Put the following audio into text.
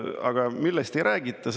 Aga millest ei räägita?